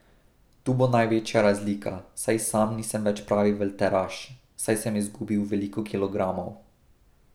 Tu bo največja razlika, saj sam nisem več pravi velteraš, saj sem izgubil veliko kilogramov.